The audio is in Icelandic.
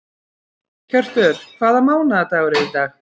Hjörtur, hvaða mánaðardagur er í dag?